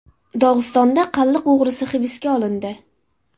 Dog‘istonda qalliq o‘g‘risi hibsga olindi.